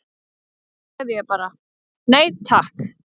Þá sagði ég bara: Nei takk!